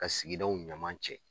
Ka sigidaw ɲuman cɛ